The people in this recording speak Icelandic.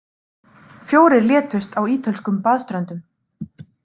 Fjórir létust á ítölskum baðströndum